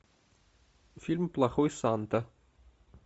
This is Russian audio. фильм плохой санта